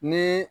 Ni